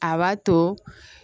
A b'a to